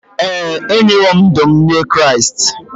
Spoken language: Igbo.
Ee, enyewo m ndụ m nye Kraịst.